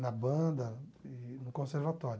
Na banda, e no conservatório.